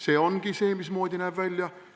See ongi see, mismoodi näeb välja.